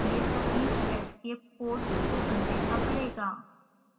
यह सभी escape codes को अनदेखा करेगा